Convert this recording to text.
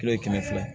Kilo ye kɛmɛ fila